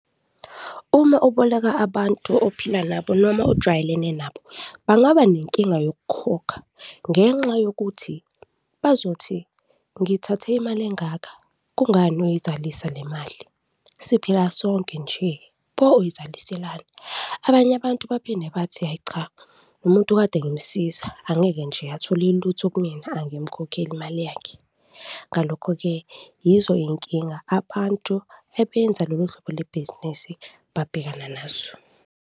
Uma uboleka abantu ophila nabo noma ojwayelene nabo, bangaba nenkinga yokukhokha ngenxa yokuthi bazothi, ngithathe imali engaka, kungani uyizalisa le mali? Siphila sonke nje, pho uyizaliselani? Abanye abantu baphinde bathi, hhayi cha, lo muntu kade ngimsiza, angeke nje athole ilutho kumina, angimkhokheli imali yakhe. Ngalokho-ke, yizo iy'nkinga abantu ebenza lolu hlobo lebhizinisi babhekana nazo.